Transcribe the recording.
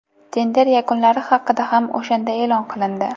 Tender yakunlari haqida ham o‘shanda e’lon qilindi.